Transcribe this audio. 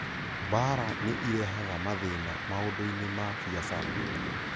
mbaara nĩ ĩrehaga mathĩna maũndũ-inĩ ma biacara